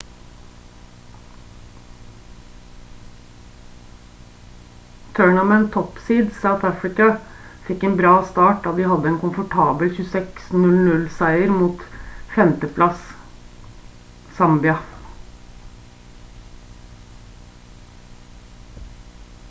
tournament top seeds south africa fikk en bra start da de hadde en komfortabel 26-00 seier mot 5. plass zambia